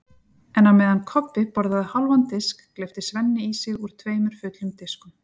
En á meðan Kobbi borðaði hálfan disk gleypti Svenni í sig úr tveimur fullum diskum.